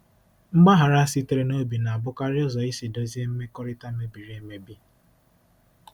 Mgbaghara sitere n'obi na-abụkarị ụzọ isi dozie mmekọrịta mebiri emebi.